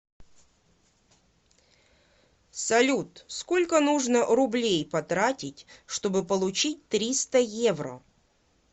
салют сколько нужно рублей потратить чтобы получить триста евро